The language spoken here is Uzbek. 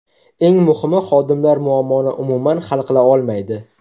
Eng muhimi xodimlar muammoni umuman hal qila olmaydi.